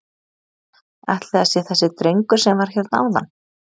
Ætli það sé þessi drengur sem var hérna áðan?